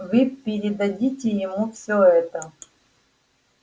вы передадите ему всё это